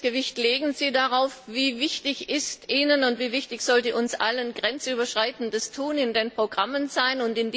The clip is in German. Welches Gewicht legen Sie darauf, wie wichtig ist Ihnen und wie wichtig sollte uns allen grenzüberschreitendes Handeln in den Programmen sein?